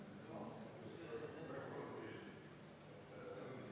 Austatud Riigikogu, EKRE fraktsiooni palutud vaheaeg on lõppenud.